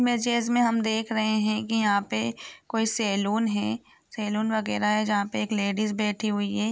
हम देख रहे है की यहाँ पे कोई सेलून है सेलून वगेरा है जहाँ पे एक लेडिज बैठी हुई है।